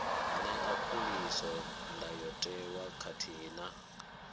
ṅea khuliso ndayotewa khathihi na